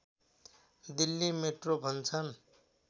Delhi metro भन्छन्